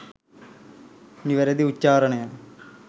නිවැරැදි උච්චාරණය